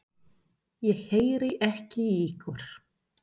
Ég heyri ekki í ykkur.